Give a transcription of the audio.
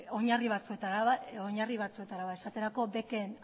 oinarri batzuetara esaterako beken